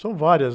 São várias.